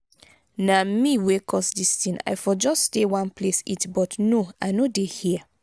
na me wey cause dis thing i for just stay one place eat but no i no dey hear.